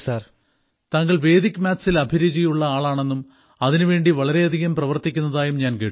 താങ്കൾ വേദിക് മാത്സിൽ അഭിരുചിയുള്ള ആളാണെന്നും അതിനുവേണ്ടി വളരെയധികം പ്രവർത്തിക്കുന്നതായും ഞാൻ കേട്ടു